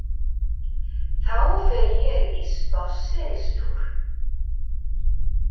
Þá fer ég í spásseristúr.